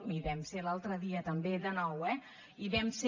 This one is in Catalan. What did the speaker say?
hi vam ser l’altre dia també de nou eh i hi vam ser